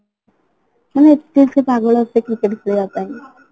ମାନେ ଏତେ ସିଏ ପାଗଳ ଏତେ cricket ଖେଳିବା ପାଇଁ